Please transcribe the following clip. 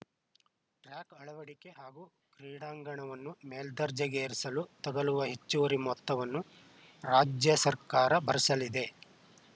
track ಅಳವಡಿಕೆ ಹಾಗೂ ಕ್ರೀಡಾಂಗಣವನ್ನು ಮೇಲ್ದರ್ಜೆಗೇರಿಸಲು ತಗುಲುವ ಹೆಚ್ಚುವರಿ ಮೊತ್ತವನ್ನು ರಾಜ್ಯ ಸರ್ಕಾರ ಭರಿಸಲಿದೆ